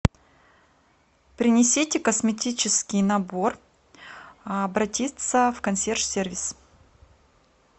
принесите косметический набор обратиться в консьерж сервис